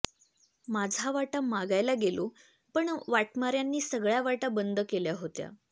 माझा वाटा मागायला गेलो पण वाटमार्यांनी सगळ्या वाटा बंद केल्या होत्या